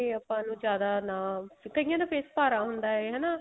ਆਪਾਂ ਨੂੰ ਜਿਆਦਾ ਨਾ ਕਈਆਂ ਦਾ face ਭਾਰਾ ਹੁੰਦਾ ਏ ਹਨਾ